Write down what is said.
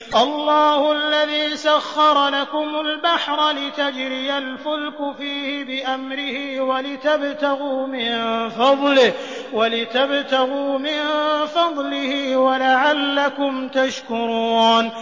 ۞ اللَّهُ الَّذِي سَخَّرَ لَكُمُ الْبَحْرَ لِتَجْرِيَ الْفُلْكُ فِيهِ بِأَمْرِهِ وَلِتَبْتَغُوا مِن فَضْلِهِ وَلَعَلَّكُمْ تَشْكُرُونَ